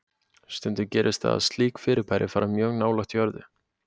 Stundum gerist það að slík fyrirbæri fara mjög nálægt jörðu.